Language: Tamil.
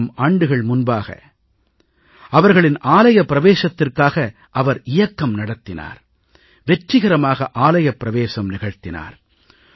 ஆயிரம் ஆண்டுகள் முன்பாக அவர்களின் ஆலயப் பிரவேசத்திற்காக அவர் இயக்கம் நடத்தினார் வெற்றிகரமாக ஆலயப் பிரவேசம் நிகழ்த்தினார்